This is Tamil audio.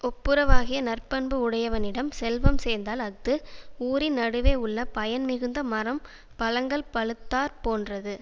ஒப்புராவாகிய நற்பண்பு உடையவனிடம் செல்வம் சேர்ந்தால் அஃது ஊரின் நடுவே உள்ள பயன் மிகுந்த மரம் பழங்கள் பழுத்தாற் போன்றது